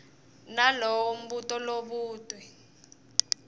nalowo mbuto lobutwe